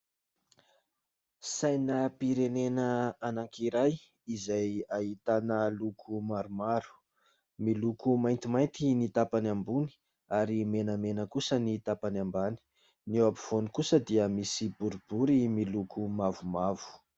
Sainam-pirenena anankiray izay ahitana loko maromaro miloko maintimainty ny tampany ambony ary menamena kosa ny tampany ambany ny eo afovoany kosa dia misy boribory miloko mavomavo